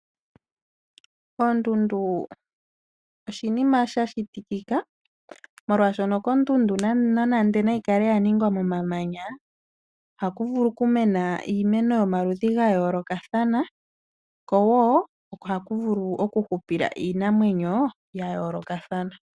Oondundu oshinima sha shitikika molwaashono ondundu nande nayikale ya tungwa nomamanya. Ohaku vulu oku mena iimeno yomaludhi gayoolokathana. Ko woo ohaku vulu oku hupila iinamwenyo ya yoolokathana.